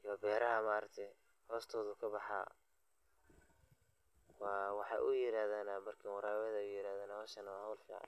iyo beraha maarakte hostoda ayu kabaha, wa waxa ay yiraxdana barkima warabet ayay yirahdana, xowshaani wa xowl fican.